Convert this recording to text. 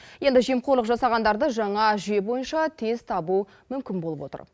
енді жемқорлық жасағандарды жаңа жүйе бойынша тез табу мүмкін болып отыр